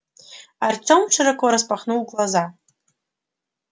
артем широко распахнул глаза